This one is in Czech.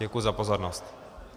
Děkuji za pozornost.